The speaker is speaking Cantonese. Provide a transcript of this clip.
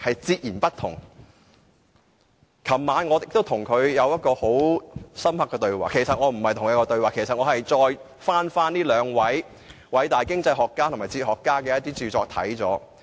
昨晚，我跟他有過一次深刻的對話，其實不是對話，我只是翻閱這兩位偉大經濟學家和哲學家的著作。